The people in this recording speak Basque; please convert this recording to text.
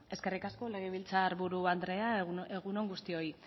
eskerrik asko legebiltzarburu andrea egun on guztioi